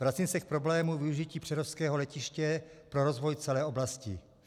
Vracím se k problému využití přerovského letiště pro rozvoj celé oblasti.